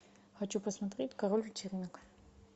хочу посмотреть король вечеринок